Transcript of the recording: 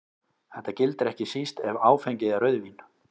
Þetta gildir ekki síst ef áfengið er rauðvín.